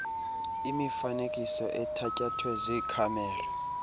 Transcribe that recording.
imifanekiso ethatyathwe ziikhamera